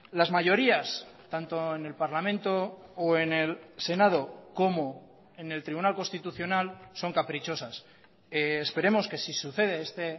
las mayorías tanto en el parlamento o en el senado como en el tribunal constitucional son caprichosas esperemos que si sucede este